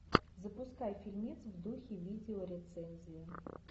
запускай фильмец в духе видеорецензии